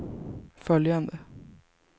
följande